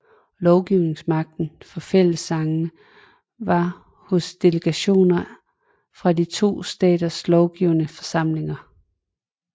Lovgivningsmagten for fællessagerne var hos delegationer fra de to staters lovgivende forsamlinger